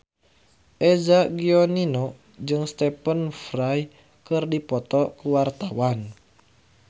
Eza Gionino jeung Stephen Fry keur dipoto ku wartawan